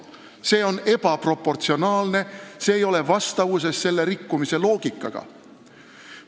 See on ebaproportsionaalne, see ei ole vastavuses selle rikkumise loogikaga.